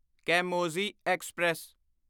ਕੈਮੋਜ਼ੀ express